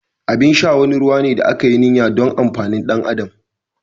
Abin sha wani ruwa ne da aka yi niyya don amfanin ɗan adam.